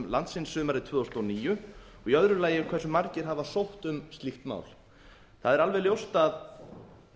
landsins sumarið tvö þúsund og níu öðrum hversu margir sóttu um slíkt nám það er alveg ljóst að